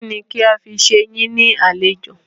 Kínni kí a fi ṣe yín ní àlejò?